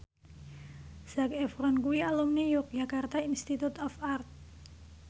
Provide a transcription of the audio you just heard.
Zac Efron kuwi alumni Yogyakarta Institute of Art